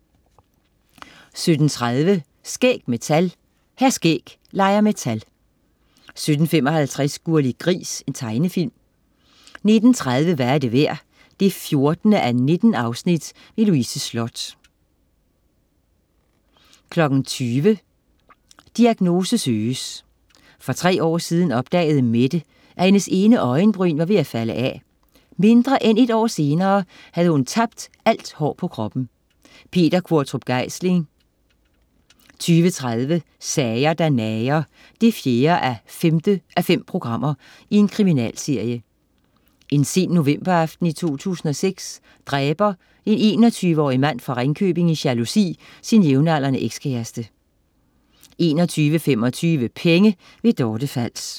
17.30 Skæg med tal. Hr. Skæg leger med tal 17.55 Gurli Gris. Tegnefilm 19.30 Hvad er det værd? 14:19. Louise Sloth 20.00 Diagnose Søges. For tre år siden opdagede Mette, at hendes ene øjenbryn, var ved at falde af. Mindre end et år senere havde hun tabt alt hår på kroppen. Peter Qvortrup Geisling 20.30 Sager der nager 4:5. Kriminalserie. En sen novemberaften i 2006 dræber en 21-årige mand fra Ringkøbing i jalousi sin jævnaldrende ekskæreste 21.25 Penge. Dorte Fals